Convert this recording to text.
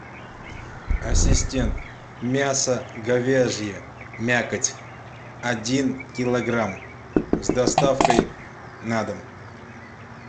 ассистент мясо говяжье мякоть один килограмм с доставкой на дом